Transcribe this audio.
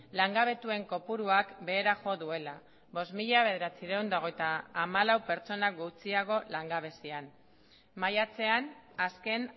langabetuen kopuruak behera jo duela bost mila bederatziehun eta hogeita hamalau pertsona gutxiago langabezian maiatzean azken